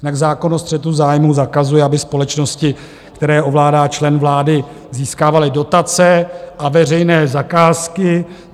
Jinak zákon o střetu zájmů zakazuje, aby společnosti, které ovládá člen vlády, získávaly dotace a veřejné zakázky.